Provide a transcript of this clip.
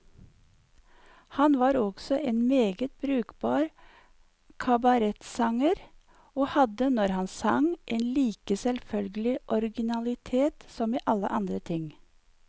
Han var også en meget brukbar kabaretsanger, og hadde, når han sang, en like selvfølgelig originalitet som i alle andre ting.